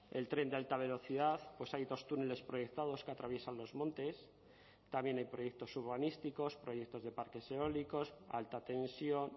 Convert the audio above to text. el tren de alta velocidad pues hay dos túneles proyectados que atraviesan los montes también hay proyectos urbanísticos proyectos de parques eólicos alta tensión